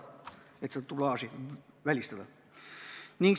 Tahtsime dublaaži välistada.